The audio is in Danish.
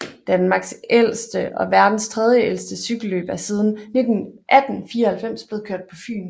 Danmarks ældste og verdens tredjeældste cykelløb er siden 1894 blevet kørt på Fyn